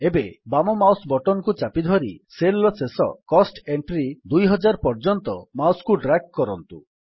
ଏବେ ବାମ mouse button କୁ ଚାପି ଧରି ସେଲ୍ ର ଶେଷ କୋଷ୍ଟ ଏଣ୍ଟ୍ରୀ ୨୦୦୦ ପର୍ଯ୍ୟନ୍ତ ମାଉସ୍ କୁ ଡ୍ରାଗ୍ କରନ୍ତୁ